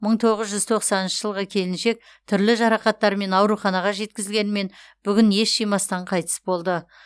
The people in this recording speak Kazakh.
мың тоғыз жүз тоқсаныншы жылғы келіншек түрлі жарақаттармен ауруханаға жеткізілгенімен бүгін ес жимастан қайтыс болды